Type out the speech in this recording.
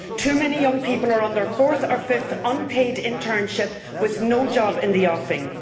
Too many young people are on their fourth or fifth unpaid internship with no job in the offing.